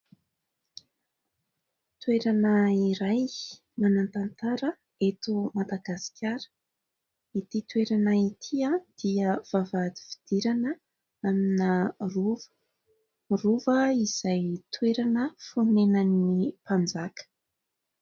Toerana iray manan-tantara eto Madagasikara. Ity toerana ity dia vavahady fidirana amina rova. Rova izay toerana fonenan'ny mpanjaka.